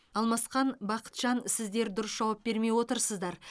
алмасхан бақытжан сіздер дұрыс жауап бермей отырсыздар